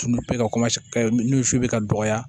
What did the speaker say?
Dumunu bɛ ka ka nun su bɛ ka dɔgɔya